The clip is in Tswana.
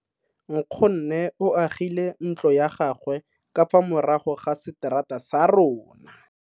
Nkgonne o agile ntlo ya gagwe ka fa morago ga seterata sa rona.